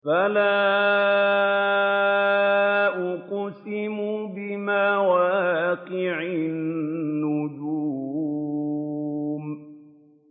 ۞ فَلَا أُقْسِمُ بِمَوَاقِعِ النُّجُومِ